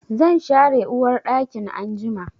Zan share uwarɗakin anjima.